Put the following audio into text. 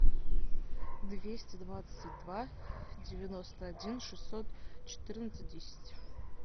двести двадцать два девяносто один шестьсот четырнадцать десять